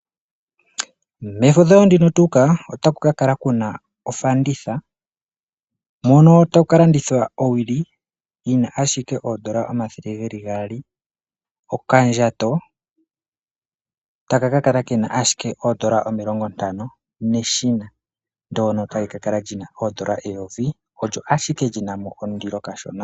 Mefudho ndino tu uka, otaku ka kala kuna ofanditha, mono taku ka landithwa owili yina ashike oondola omathele geli gaali, okandjato taka ka kala kena ashike oondola omilongo ntano, neshina ndono tali ka kala lyina oondola eyovi, olyo ashike lyafa lyina mo ondilo kashona.